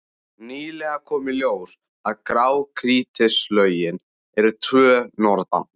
Nýlega kom í ljós að grágrýtislögin eru tvö norðan